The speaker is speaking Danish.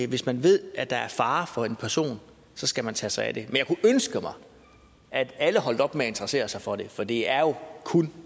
hvis man ved at der er fare for en person skal man tage sig af det jeg kunne ønske mig at alle holdt op med at interessere sig for det for det er jo kun